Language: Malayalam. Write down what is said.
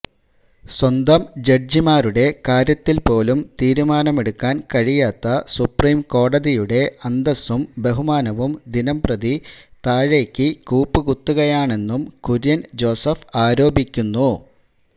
സ്വന്തം ജഡ്ജിമാരുടെ കാര്യത്തിൽ പോലും തീരുമാനമെടുക്കാൻ കഴിയാത്ത സുപ്രീംകോടതിയുടെ അന്തസ്സും ബഹുമാനവും ദിനംപ്രതി താഴേക്കു കൂപ്പുകുത്തുകയാണെന്നും കുര്യൻ ജോസഫ് ആരോപിക്കുന്നു